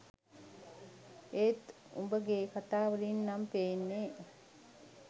ඒත් උඹගෙ කතාවලින් නම් පේන්නෙ